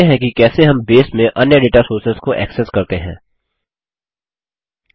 देखते हैं कि कैसे हम बेस में अन्य दाता सोर्सेस डेटा सोर्सेस को एक्सेस करते हैं